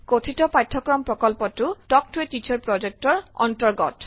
কথিত পাঠ্যক্ৰম প্ৰকল্পটো তাল্ক ত a টিচাৰ প্ৰজেক্ট ৰ অন্তৰ্গত